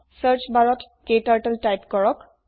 search barত ক্টাৰ্টল type কৰক